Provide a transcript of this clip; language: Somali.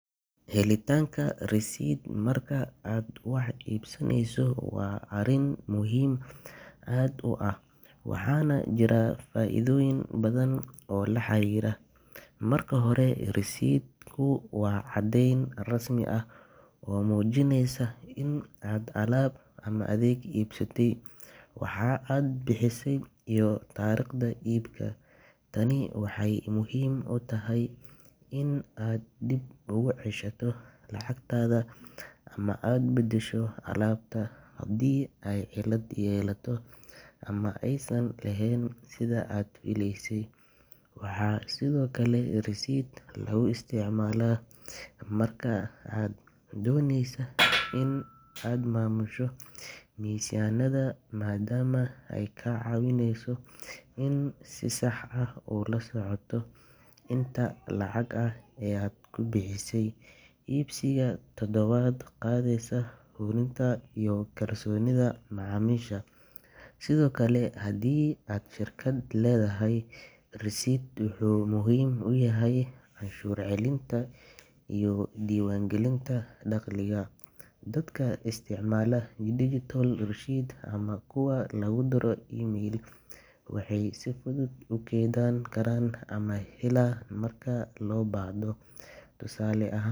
Helitaanka receipt marka aad wax iibsanayso waa arrin aad muhiim u ah, waxaana jira faa’iidooyin badan oo la xiriira. Marka hore, receipt-ku waa caddeyn rasmi ah oo muujinaysa in aad alaab ama adeeg iibsatay, waxa aad bixisay, iyo taariikhda iibka. Tani waxay muhiim u tahay in aad dib ugu ceshato lacagtaada ama aad beddesho alaabta haddii ay cillad yeelato ama aysan ahayn sida aad filaysay. Waxaa sidoo kale receipt lagu isticmaalaa marka aad doonayso in aad maamusho miisaaniyaddaada, maadaama ay kaa caawinayso in aad si sax ah u la socoto inta lacag ah ee aad ku bixisay iibsiga todobaad ama bishii. Ganacsiyada waxay adeegsadaan receipts si ay ula socdaan xisaabaadkooda, taasoo kor u qaadaysa hufnaanta iyo kalsoonida macaamiisha. Sidoo kale, haddii aad shirkad leedahay, receipt wuxuu muhiim u yahay canshuur celinta iyo diiwaangelinta dakhliga. Dadka isticmaala digital receipts ama kuwa lagu diro email, waxay si fudud u kaydsan karaan una helaan marka loo baahdo. Tusaale ahaa.